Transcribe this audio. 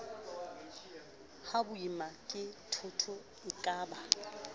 ha boima ke dithoto ekaba